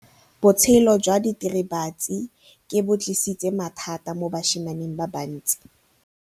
Botshelo jwa diritibatsi ke bo tlisitse mathata mo basimaneng ba bantsi.